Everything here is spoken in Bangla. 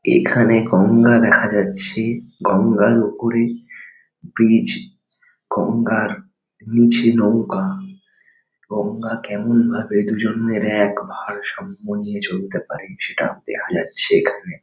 এখানে গঙ্গা দেখা যাচ্ছে গঙ্গার ওপরে ব্রিজ গঙ্গার নিচে নৌকা। গঙ্গা কেমনভাবে দুজন্মের এক ভারসাম্য নিয়ে চলতে পারে সেটা দেখা যাচ্ছে এখানে।